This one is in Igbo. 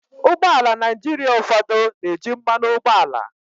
Ụgbọ ala Naịjirịa ụfọdụ na-eji mmanụ ụgbọala.